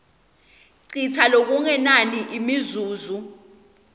citsa lokungenani imizuzu